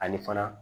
Ani fana